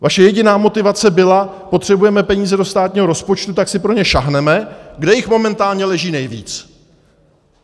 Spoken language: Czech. Vaše jediná motivace byla: potřebujeme peníze do státního rozpočtu, tak si pro ně sáhneme, kde jich momentálně leží nejvíc.